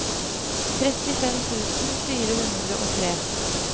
trettifem tusen fire hundre og tre